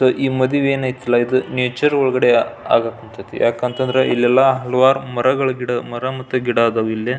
So ಈ ಮದುವಿ ಏನು ಐತಲ್ಲಾ ಇದು ನೇಚರ್ ಒಳಗಡೆ ಆಗಾಕ್ ಹತ್ತೈತಿ ಯಾಕಂತಂದ್ರೆ ಇಲ್ಲೆಲ್ಲ ಹಲವಾರು ಮರಗಳು ಗಿಡ ಮರ ಮತ್ತು ಗಿಡ ಅದಾವು ಇಲ್ಲಿ.